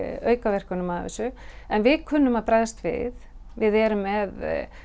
aukaverkunum af þessu en við kunnum að bregðast við við erum með